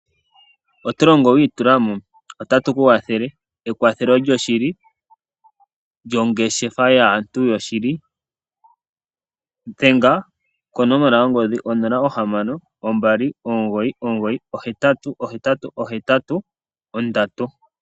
Oto longo wiitulamo? Otatu ku wathele ewathelo lyoshili lyongeshefa yaantu yoshili. Dhenga konomola yongodhi onola, ohamano, ombali, omugoyi, omugoyi, ohetatu, ohetatu, ohetatu nondatu.